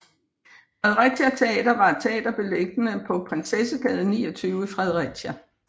Fredericia Teater var et teater beliggende på Prinsessegade 29 i Fredericia